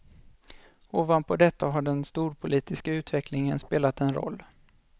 Ovanpå detta har den storpolitiska utvecklingen spelat en roll.